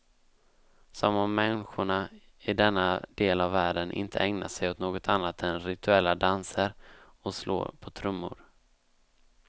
Som om människorna i denna del av världen inte ägnar sig åt något annat än rituella danser och slå på trummor.